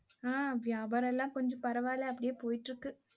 ஆஹ் வியாபாரம்லாம், கொஞ்சம் பரவாயில்லை அப்படியே போயிட்டிருக்கு